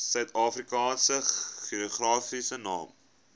suidafrikaanse geografiese name